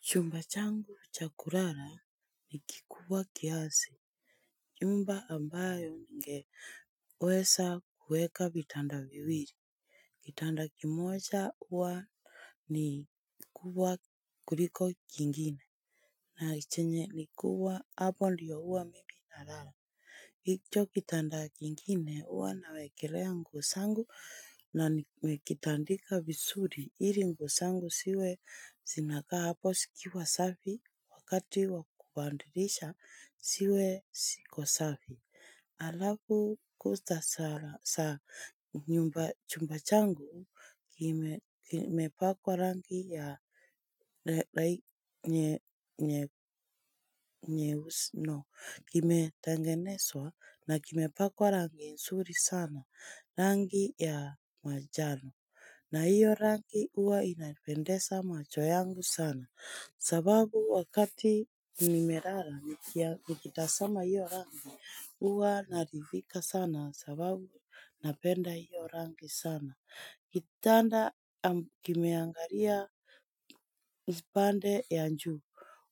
Chumba changu cha kurara ni kikuwa kiasi. Nyumba ambayo nge weza kuweka vitanda viwili kitanda kimoja huwa ni kubwa kuliko kingine. Na chenye ni kuwa hapo ndiyo huwa mimi na nalala. Hicho kitanda kingine huwa nawekelea nguo sangu na nmekitandika vizuri ili nguo sangu siwe zinaka hapo sikiwa safi wakati wakubandirisha siwe siko safi. Alavu kutasara sa nyumba chumba changu lime limepakwa rangi ya lai nye nye nyeusno kime tengenezwa na kimepakwa rangi nsuri sana rangi ya majano na hiyo rangi huwa inanipendesa macho yangu sana, sababu wakati nimelala niki nikitasama hiyo rangi huwa naridhika sana sababu napenda hiyo rangi sana. Kitanda kimeangaria mpande ya juu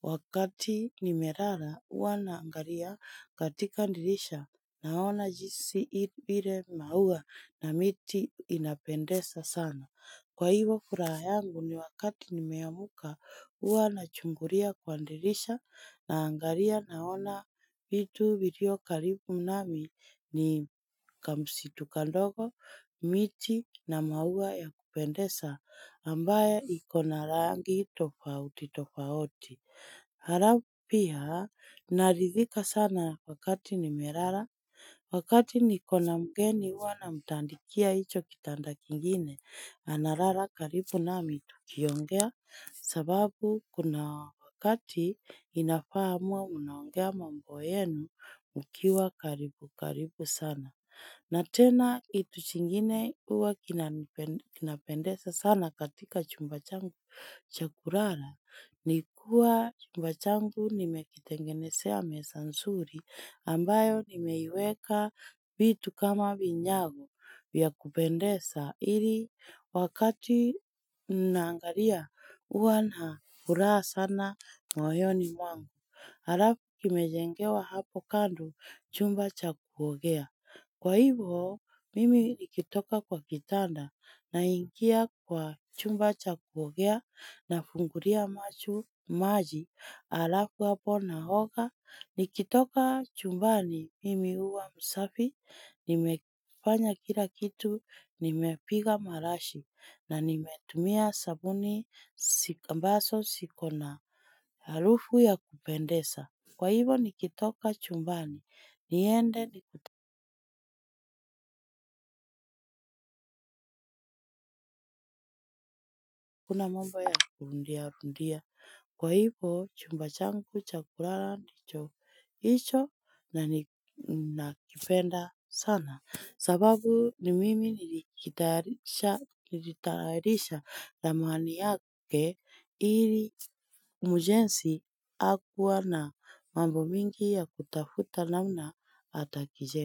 wakati nimerara hua naangaria katika ndirisha naona jinsi i ile maua na miti inapendesa sana. Kwa hivo furaha yangu ni wakati nimeamuka huwa na chunguria kwa ndirisha naangaria naona vitu vilio karibu nami ni kamsitu kandogo miti na maua ya kupendeza ambayo ikona rangi tofauti tofauti. Harafu pia naridhika sana wakati nimerara wakati nikona mgeni huwa namtandikia hicho kitanda kingine anarara karibu nami tukiongea sababu kuna wakati inafaa muwe mnaongea mambo yenu mkiwa karibu karibu sana na tena kitu chingine uwa kinani kinapendeza sana katika chumba changu cha kurara. Nikuwa chumba changu nimekitengenesea mesa nsuri ambayo nimeiweka vitu kama vinyago vya kupendesa. Iri wakati naangaria huwa na furaha sana mwoyoni mwangu. Alafu kimejengewa hapo kando chumba cha kuogea. Kwa hivo, mimi nikitoka kwa kitanda naingia kwa chumba cha kuogea na fungulia machu maji. Alafu hapo na hoga, nikitoka chumbani mimi huwa msafi, nimefanya kila kitu, nimepiga marashi na nimetumia sabuni sik ambaso sikona. Harufu ya kupendesa kwa hivo nikitoka chumbani. Niende ni akuna mambo ya kurundia rundia. Kwa hivo chumba changu cha kurara ndicho hicho na ni nakipenda sana. Sababu ni mimi nilikitayarisha nilitayaisha ramani yake ili mjenzi hakuwa na mambo mingi ya kutafuta namna atakije.